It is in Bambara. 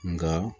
Nka